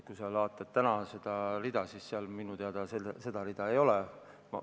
Kui sa vaatad täna seda jaotust, siis seal minu teada sellist rida ei ole.